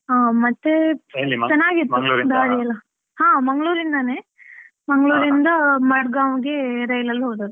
ಹಾ ಮತ್ತೆ .ಹಾ ಮಂಗಳೂರಿಂದನೇ, ಮಂಗಳೂರಿಂದ ಮಾಡ್ಗಾವ್ಗೆ ರೈಲಲ್ಲಿ ಹೋದದ್ದು.